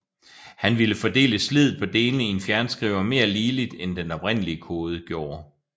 Han ville fordele sliddet på delene i en fjernskriver mere ligeligt end den oprindelige kode gjorde